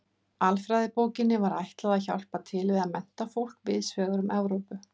Alfræðibókinni var ætlað að hjálpa til við að mennta fólk víðs vegar um Evrópu.